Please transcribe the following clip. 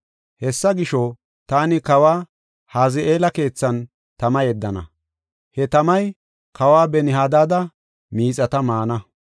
Hessa gisho, taani kawa Haza7eela keethan tama yeddana; he tamay kawa Ben-Hadaada miixata maana.